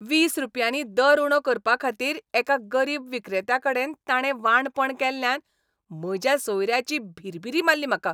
वीस रुपयानीं दर उणो करपाखातीर एका गरीब विक्रेत्याकडेन ताणें वांणपण केल्ल्यान म्हज्या सोयऱ्याची भिरभिरी मारली म्हाका.